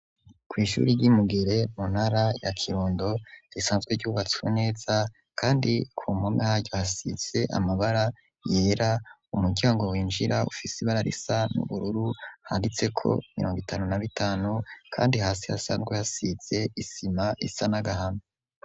Ku ishure ryimugere mu ntara ya kirundo risanzwe ryubatswe neza kandi ku mpome haryo hasize amabara yera umuryango winjira ufise ibara risa n'ubururu handitse ko imirongo itanu na bitanu kandi hasi hasanzwe hasize isima isa n'agahama.